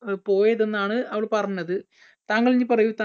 പോയത് എന്നാണ് അവൾ പറഞ്ഞത് താങ്കൾ ഇനി പറയൂ താ